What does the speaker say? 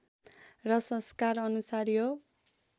र संस्कार अनुसार यो